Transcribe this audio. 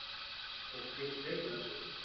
Fólk finnur fyrir þessu